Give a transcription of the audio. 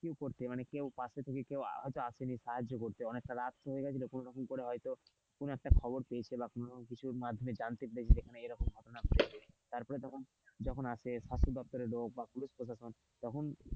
কেউ পাশে থেকে কেউ তো হয়তো আসেনি সাহায্য করতে অনেক টা রাত হয়ে গেছিল তখন হয়তো কোন একটা খবর পেয়েছে কোন কিছু মাধ্যমে জানতে পেরেছে যে এরকম ঘটনা হয়েছে তারপরে যখন আসে স্বাস্থ্য দপ্তরের লোক বা পুলিশ প্রশাসন তখন,